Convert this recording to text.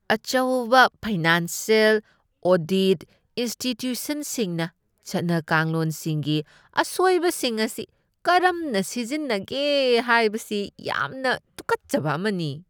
ꯑꯆꯧꯕ financial audit ꯏꯟꯁꯇꯤꯇ꯭ꯌꯨꯁꯟꯁꯤꯡꯅ ꯆꯠꯅ ꯀꯥꯡꯂꯣꯟꯁꯤꯡꯒꯤ ꯑꯁꯣꯏꯕꯁꯤꯡ ꯑꯁꯤ ꯀꯔꯝꯅ ꯁꯤꯖꯤꯟꯅꯒꯦ ꯍꯥꯏꯕꯁꯤ ꯌꯥꯝꯅ ꯇꯨꯀꯠꯆꯕ ꯑꯃꯅꯤ꯫